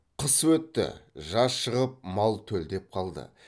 қыс өтті жаз шығып мал төлдеп қалды